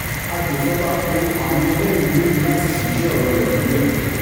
àgbẹ̀fọ́fà pe àwọn ẹlẹ́rìí mẹ́rin láti fìdí ọ̀rọ̀ rẹ̀ múlẹ̀